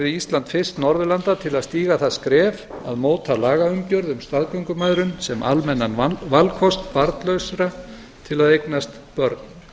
ísland fyrst norðurlanda til að stíga það skref að móta lagaumgjörð um staðgöngumæðrun sem almennan valkost barnlausra til að eignast börn